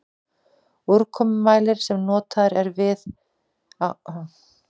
Úrkomumælir sem notaður er á mönnuðum stöðvum.